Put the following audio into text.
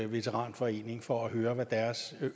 veteranforening for at høre hvad deres